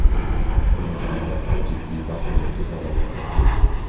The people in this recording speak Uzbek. Birinchi navbatda jiddiy va hurmatga sazovor raqib.